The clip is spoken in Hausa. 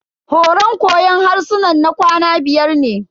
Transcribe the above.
Horan koyon harsunan na kwana biyar ne.